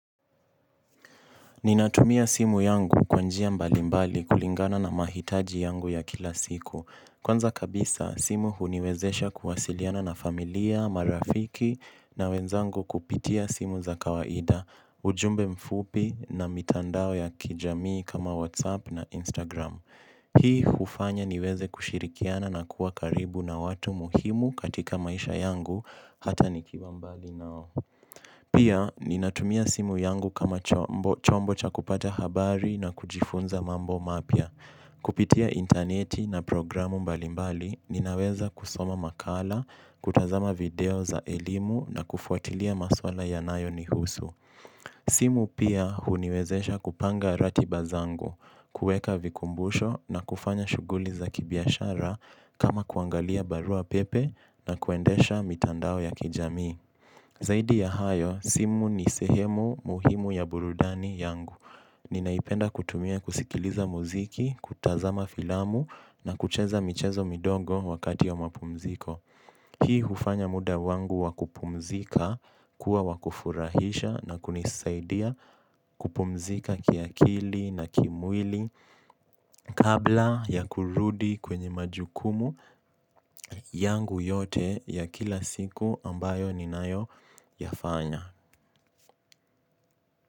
Ninatumia simu yangu kwa njia mbali mbali kulingana na mahitaji yangu ya kila siku. Kwanza kabisa, simu huniwezesha kuwasiliana na familia, marafiki na wenzangu kupitia simu za kawaida, ujumbe mfupi na mitandao ya kijamii kama WhatsApp na Instagram. Hii hufanya niweze kushirikiana na kuwa karibu na watu muhimu katika maisha yangu hata nikiwa mbali nao. Pia, ninatumia simu yangu kama chombo cha kupata habari na kujifunza mambo mapya. Kupitia intaneti na programu mbalimbali, ninaweza kusoma makala, kutazama video za elimu na kufuatilia maswala yanayo ni husu. Simu pia huniwezesha kupanga ratiba zangu kuweka vikumbusho na kufanya shughuli za kibiashara kama kuangalia barua pepe na kuendesha mitandao ya kijami. Zaidi ya hayo simu ni sehemu muhimu ya burudani yangu. Ninaipenda kutumia kusikiliza muziki kutazama filamu na kucheza michezo midogo wakati ya mapumziko. Hii hufanya muda wangu wa kupumzika kuwa wa kufurahisha na kunisaidia kupumzika kiakili na kimwili kabla ya kurudi kwenye majukumu yangu yote ya kila siku ambayo ninayo yafanya.